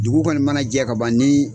Dugu kɔni mana jɛ ka ban ni